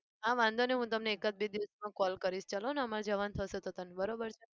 હા વાંધો નહિ હું તમને એકાદ બે દિવસમાં call કરીશ ચાલોને અમારે જવાનું થશે તો તને. બરોબર છે?